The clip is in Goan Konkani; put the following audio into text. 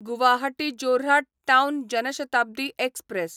गुवाहाटी जोऱ्हाट टावन जन शताब्दी एक्सप्रॅस